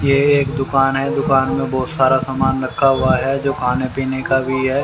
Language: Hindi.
यह एक दुकान है दुकान में बहुत सारा सामान रखा हुआ है जो खाने पीने का भी है।